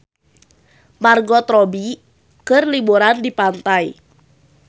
Margot Robbie keur liburan di pantai